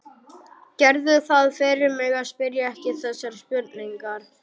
Gerðu það fyrir mig að spyrja ekki þessarar spurningar